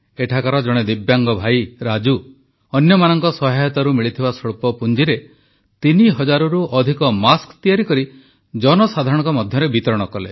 ଏଠାକାର ଜଣେ ଦିବ୍ୟାଙ୍ଗ ଭାଇ ରାଜୁ ଅନ୍ୟମାନଙ୍କ ସହାୟତାରୁ ମିଳିଥିବା ସ୍ୱଳ୍ପ ପୁଞ୍ଜିରେ ତିନି ହଜାରରୁ ଅଧିକ ମାସ୍କ ତିଆରି କରି ଜନସାଧାରଣଙ୍କ ମଧ୍ୟରେ ବିତରଣ କଲେ